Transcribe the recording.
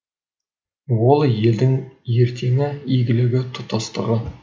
ол елдің ертеңі игілігі тұтастығы